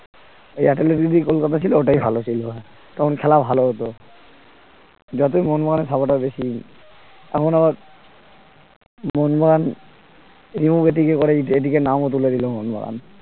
এই কলকাতা ছিল ওটাই ভালো ছিল তখন খেলা ভাল হত যতই মোহনবাগানের supporter বেশি এখন আবার মোহনবাগান ATK নামও তুলে দিলো মোহনবাগান